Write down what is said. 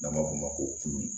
N'an b'a f'o ma ko kulu